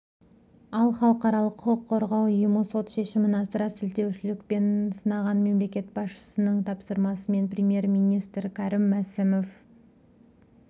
ал халықаралық құқық қорғау ұйымы сот шешімін асыра сілтеушілік деп сынаған мемлекет басшысының тапсырмасымен премьер-министрікәрім мәсімов